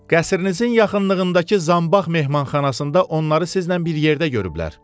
Qəsrinizin yaxınlığındakı zambax mehmanxanasında onları sizlə bir yerdə görüblər.